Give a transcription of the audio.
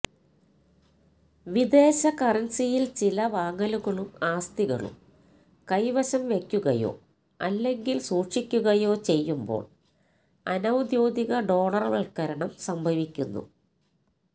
വിദേശ കറൻസിയിൽ ചില വാങ്ങലുകളും ആസ്തികളും കൈവശം വയ്ക്കുകയോ അല്ലെങ്കിൽ സൂക്ഷിക്കുകയോ ചെയ്യുമ്പോൾ അനൌദ്യോഗിക ഡോളർവൽക്കരണം സംഭവിക്കുന്നു